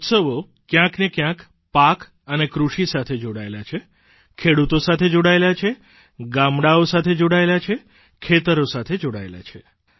આ ઉત્સવો ક્યાંકને ક્યાંક પાક અને કૃષિ સાથે જોડાયેલા છે ખેડૂતો સાથે જોડાયેલા છે ગામડાંઓ સાથે જોડાયેલાં છે ખેતરો સાથે જોડાયેલાં છે